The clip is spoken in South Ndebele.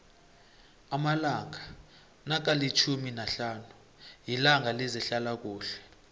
amalanga nokalitjhumi nahlanu yitanga lezehlalakuhle